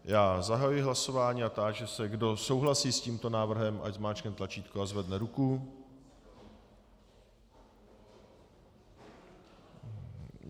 Já zahajuji hlasování a táži se, kdo souhlasí s tímto návrhem, ať zmáčkne tlačítko a zvedne ruku.